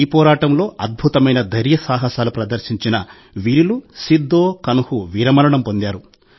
ఈ పోరాటంలో అద్భుతమైన ధైర్యసాహసాలు ప్రదర్శించిన వీరులు సిద్ధో కన్హూ వీరమరణం పొందారు